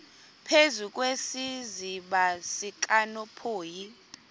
phezu kwesiziba sikanophoyi